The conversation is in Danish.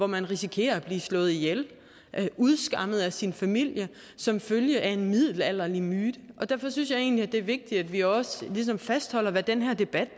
man risikerer at blive slået ihjel eller udskammet af sin familie som følge af en middelalderlig myte derfor synes jeg egentlig det er vigtigt at vi også ligesom fastholder hvad den her debat